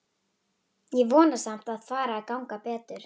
Ég vona samt að fari að ganga betur.